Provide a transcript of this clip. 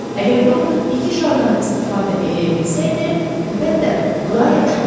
Əgər doktor iki şardan istifadə eləyə bilsəydi, əlbəttə, bu daha yaxşı olardı.